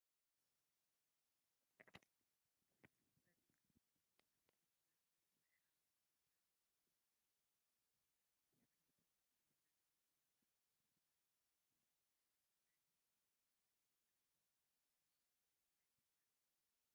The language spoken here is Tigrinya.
ፀሊም ዝሕብሩ Adidas ጫማ ይርአ ኣሎ፡፡ እዚ ጫማ ምቾት ዘለዎ እዩ፡፡ ኣዲዳስ ካብቶም ፅሬት ዘለዎም ፍሉጣት ጫማታት ሓደ እዩ፡፡ እዚ ሽም ናይቲ መፍረዪ ትካል ድዩስ ናይቲ ጫማ ባዕሉ?